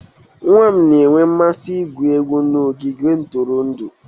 Nwa m na-enwe mmasị igwu egwu n'ogige ntụrụndụ.